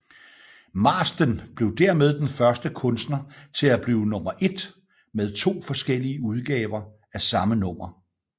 Marsden blev dermed den første kunstner til at blive nummer ét med to forskellige udgaver af samme nummer